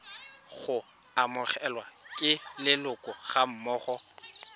go amogelwa ke leloko gammogo